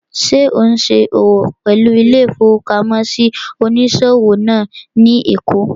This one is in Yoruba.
Ṣé ò ún ṣòwò pẹ̀lú ilé-ìfowópamọ́sí onísòwò náà ní èkó?